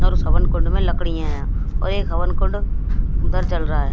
और उस हवन कुंड में लकड़ी हैं और एक हवन कुंड उधर जल रहा--